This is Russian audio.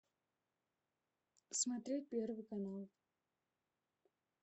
смотреть первый канал